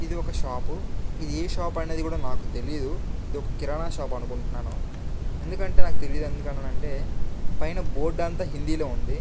ఇది ఒక షాపు . ఇది ఏ షాప్ అనేది కూడా నాకు తెలీదు. ఇది ఒక కిరాణా షాప్ అనుకుంటున్నాను. ఎందుకంటే నాకు తెలియదు. ఎందుకని అంటే పైన బోర్డు అంత హిందీలో ఉంది.